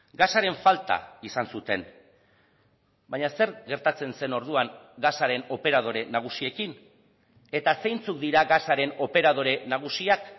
gasaren falta izan zuten baina zer gertatzen zen orduan gasaren operadore nagusiekin eta zeintzuk dira gasaren operadore nagusiak